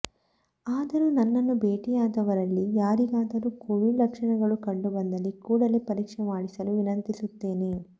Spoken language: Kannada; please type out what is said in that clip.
ಆದರೂ ನನ್ನನ್ನು ಭೇಟಿಯಾದವರಲ್ಲಿ ಯಾರಿಗಾದರೂ ಕೋವಿಡ್ ಲಕ್ಷಣಗಳು ಕಂಡುಬಂದಲ್ಲಿ ಕೂಡಲೇ ಪರೀಕ್ಷೆ ಮಾಡಿಸಲು ವಿನಂತಿಸುತ್ತೇನೆ